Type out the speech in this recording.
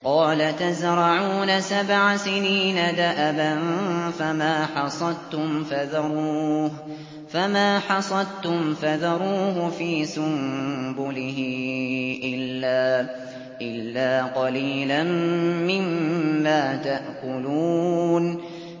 قَالَ تَزْرَعُونَ سَبْعَ سِنِينَ دَأَبًا فَمَا حَصَدتُّمْ فَذَرُوهُ فِي سُنبُلِهِ إِلَّا قَلِيلًا مِّمَّا تَأْكُلُونَ